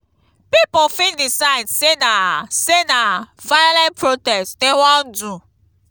pipo fit decide say na say na violent protest dem won do